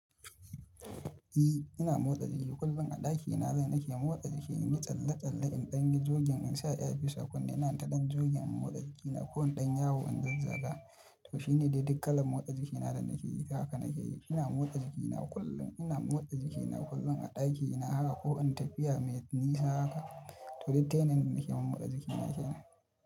I, ina motsa jiki kullum a ɗakina. Nan nake motsa jiki, in yi tsalle-tsalle, in ɗanyi jogin in sa earpiece kunne. Ina taɗan jogin in motsa jikina ko in ɗan yi yawo in zazzaga. To shi ne dai duk kalan motsa jikina da nake yi. Haka nake yi. Ina motsa jikina kullum. Ina motsa jikina kullum a ɗakina haka ko in tafiya mai nisa haka. To duk ta yanayin da nake yi motsa jikina kenan.